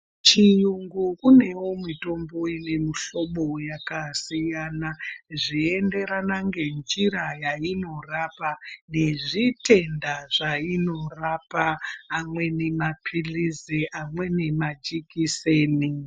Chiyungu kunewo mitombo ine mihlobo yakasiyana ,zveienderana ngenjira yainorapa, nezvitenda zvainorapa, amweni maphilizi ,amweni majikiseni.